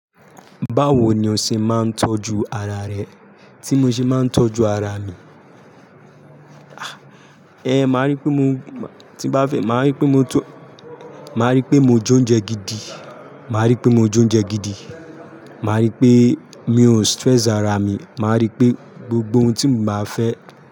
Báwo ni o ṣe máa ń tọ́jú ara rẹ tí mo ṣe máa ń tọ́jú ara mi? Ah! Eh, màá rí pé mo tí bá fẹ́, màá rí pé mo tọ́, màá rí pé mo jó oúnjẹ gidi, màá rí pé mo jó oúnjẹ gidi, màá rí pé mi ò stress ara mi, màá rí pé gbogbo ohun tí mo bá fẹ́